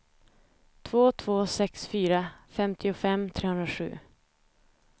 två två sex fyra femtiofem trehundrasju